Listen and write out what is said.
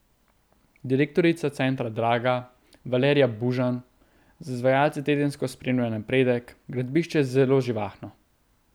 Direktorica Centra Draga, Valerija Bužan, z izvajalci tedensko spremlja napredek: 'Gradbišče je zelo živahno.